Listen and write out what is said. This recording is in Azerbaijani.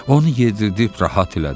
Onu yedirdib rahat elədi.